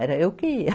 Era eu que ia.